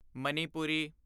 Manipuri